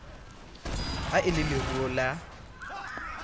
ha e le leruo la